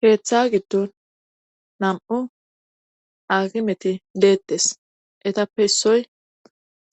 keeththa giddon nam7u akimeti deettes etappe issoy